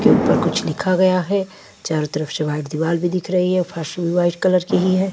ऊपर कुछ लिखा गया है चारों तरफ से व्हाइट दीवाल भी दिख रही है फर्श भी व्हाइट कलर की ही है।